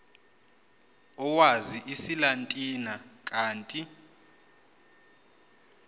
owazi isilatina kanti